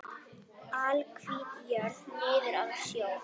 Alhvít jörð niður að sjó.